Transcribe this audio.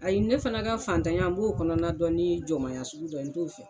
Ayi ne fana ka fataɲa n b'o kɔnɔna dɔn nii jɔmaya sugu dɔ ye n t'o fɛ.